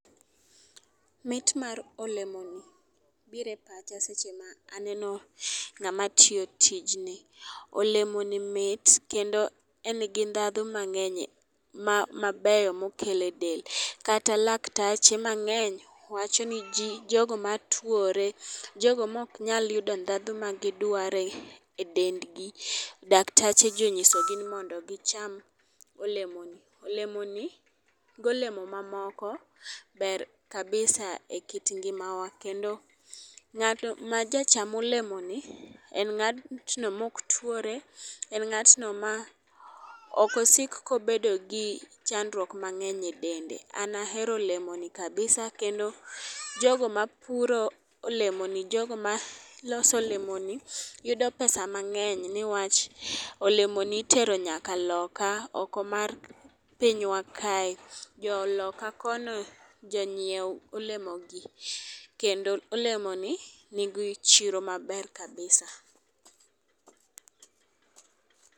Mit mar olemoni bire pacha seche ma aneno ng'ama tiyo tij ni. Olemo ni mit kendo en gi ndhadhu mang'eny mabeyo mokele del kata laktache mang'eny wacho ni jii jogo matuore ,jogo mok nyal yudo ndhadhu ma gidware dendgi, daktache gi onyiso gi mondo gicham olemo ni .Olemo ni gi olemo mamoko ber kabisa e kit ngimawa kendo ng'at ma jacham olemo ni en ng'atno mok twore en ng'atno ma ok osik kobedo gi chandruok mangeny e dende. An ahero olemoni kabisa kendo jogo mapuro olemo ni, jogo maloso olemo ni yudo pesa mang'eny niwach olemoni itero nyaka loka oko mar pinywa kae. Joloka kono jonyiew olemo gi kendo olemo ni nigi chiro maber kabisa